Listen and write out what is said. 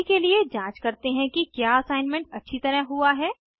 अभी के लिए जाँच करते हैं कि क्या असाइनमेंट अच्छी तरह हुआ है